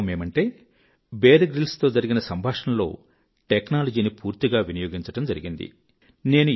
వాస్తవమేమంటే Bear Grylls తో జరిగిన సంభాషణలో టెక్నాలజీ ని పూర్తిగా వినియోగించడం జరిగింది